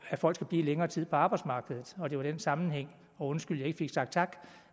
at folk skal blive længere tid på arbejdsmarkedet og det er i den sammenhæng og undskyld ikke fik sat tak